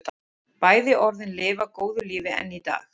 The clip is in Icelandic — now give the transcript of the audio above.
Bæði orðin lifa góðu lífi enn í dag.